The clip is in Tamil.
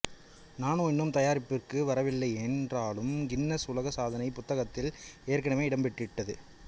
நானோ இன்னும் தயாரிப்பிற்கு வரவில்லையென்றாலும் கின்னஸ் உலக் சாதனைப் புத்தகத்தில் ஏற்கனவே இடம்பெற்றுவிட்டது